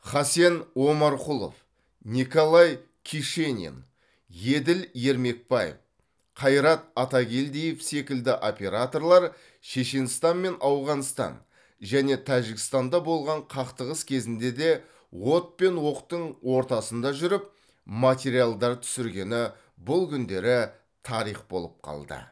хасен омарқұлов николай кишенин еділ ермекбаев қайрат атакелдиев секілді операторлар шешенстан мен ауғанстан және тәжікстанда болған қақтығыс кезінде де от пен оқтың ортасында жүріп материалдар түсіргені бұл күндері тарих болып қалды